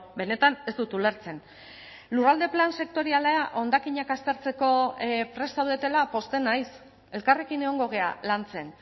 benetan ez dut ulertzen lurralde plan sektoriala hondakinak aztertzeko prest zaudetela pozten naiz elkarrekin egongo gara lantzen